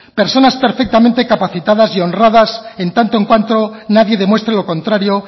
personas perfectamente capacitadas y honradas en tanto en cuanto nadie demuestre lo contrario